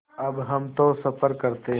अब हम तो सफ़र करते हैं